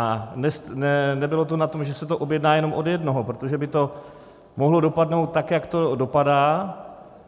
A nebylo to na tom, že se to objedná jenom od jednoho, protože by to mohlo dopadnout tak, jak to dopadá,